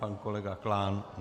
Pan kolega Klán.